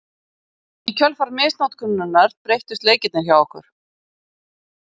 Í kjölfar misnotkunarinnar breyttust leikirnir hjá okkur.